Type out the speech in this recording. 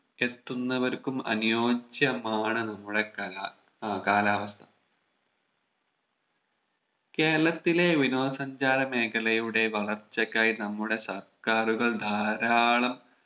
എത്തുന്നവർക്കും അനുയോജ്യമാണ് നമ്മുടെ കലാ ആഹ് കാലാവസ്ഥ കേരളത്തിലെ വിനോദ സഞ്ചാര മേഖലയുടെ വളർച്ചക്ക് ആയി നമ്മുടെ സർക്കാറുകൾ ധാരാളം